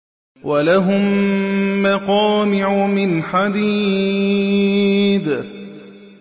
وَلَهُم مَّقَامِعُ مِنْ حَدِيدٍ